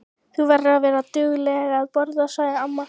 Þú verður að vera dugleg að borða, sagði amma.